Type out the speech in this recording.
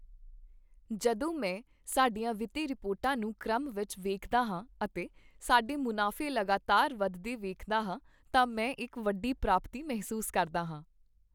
ਜਦੋਂ ਮੈਂ ਸਾਡੀਆਂ ਵਿੱਤੀ ਰਿਪੋਰਟਾਂ ਨੂੰ ਕ੍ਰਮ ਵਿੱਚ ਵੇਖਦਾ ਹਾਂ ਅਤੇ ਸਾਡੇ ਮੁਨਾਫ਼ੇ ਲਗਾਤਾਰ ਵੱਧਦੇ ਵੇਖਦਾ ਹਾਂ ਤਾਂ ਮੈਂ ਇਕ ਵੱਡੀ ਪ੍ਰਾਪਤੀ ਮਹਿਸੂਸ ਕਰਦਾ ਹਾਂ।